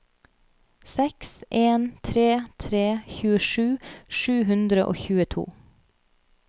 seks en tre tre tjuesju sju hundre og tjueto